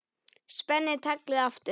Spenni taglið aftur.